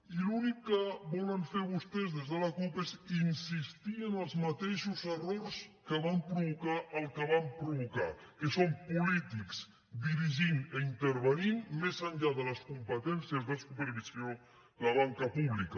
i l’únic que volen fer vostès des de la cup és insistir en els mateixos errors que van provocar el que van provocar que són polítics dirigint i intervenint més enllà de les competències de supervisió la banca pública